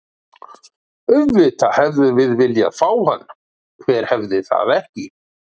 Auðvitað hefðum við viljað fá hann, hver hefði það ekki?